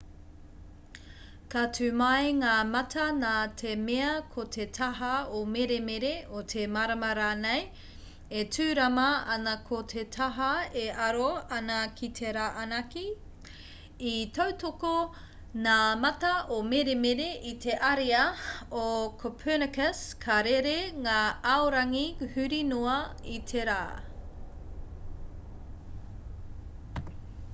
ka tū mai ngā mata nā te mea ko te taha o meremere o te marama rānei e tūrama ana ko te taha e aro ana ki te rā anake. i tautoko ngā mata o meremere i te ariā o copernicus ka rere ngā aorangi huri noa i te rā